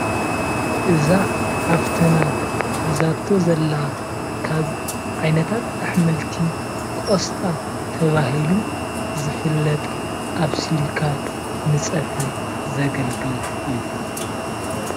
እዛ ሓፍትና ሒዛቶ ዘላ ካብ ዓይነታት አሕምልቲ ቆስጣ ተባሂሉ ዝፍለጥ አብሲልካ ንፀብሒ ዘገልግል እዩ፡፡